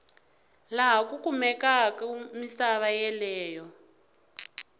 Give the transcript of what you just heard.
laha ku kumekaku misava yeleyo